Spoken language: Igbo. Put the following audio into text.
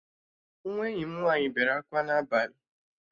Nwa enyi m nwaanyị bere akwa n'abalị